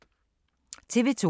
TV 2